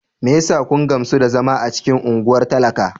Me yasa kun gamsu da zama a cikin unguwar talaka?